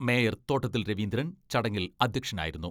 Mayor Thottathil Raveendran ചടങ്ങിൽ അധ്യക്ഷനായിരുന്നു.